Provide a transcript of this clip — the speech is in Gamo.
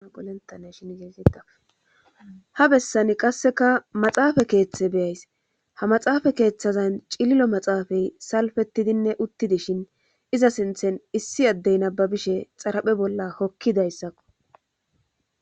apolentane shin yeegida ha bessani qasseka maxaafa keeththe beyays ha maxaafa keeththazan cililo maxaafay salfetidinne uttidishin iza sinthen issi addey nababishe xaraphe bolla hokkidayssakko